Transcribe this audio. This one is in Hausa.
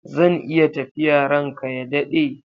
Zan iya tafiya ranka ya daɗe?